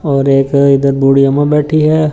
और एक इधर बूढ़ी अम्मा बैठी है।